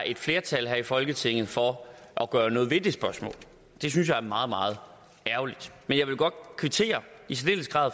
er flertal her i folketinget for at gøre noget ved det det synes jeg er meget meget ærgerligt men jeg vil godt kvittere